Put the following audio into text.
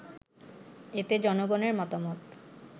এতে জনগণের মতামত